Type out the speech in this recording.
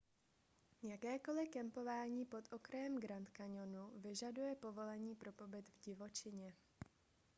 jakékoliv kempování pod okrajem grand canyonu vyžaduje povolení pro pobyt v divočině